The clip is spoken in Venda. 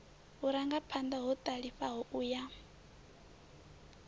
vhurangaphanḓa ho ṱalifhaho u ya